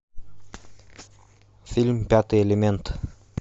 фильм пятый элемент